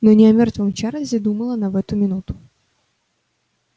но не о мёртвом чарлзе думала она в эту минуту